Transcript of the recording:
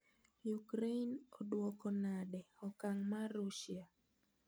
Ukraine odwoko nade okang' mar Russia?